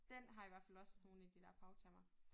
Den har i hvert fald også nogle af de dér fagtermer